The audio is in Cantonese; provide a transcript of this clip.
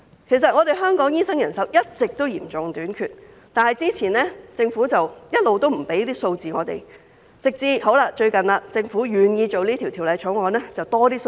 其實，香港醫生人手一直都嚴重短缺，但政府過往一直沒有向我們提供數字，直至最近政府願意處理《條例草案》，才提供了多一點數字。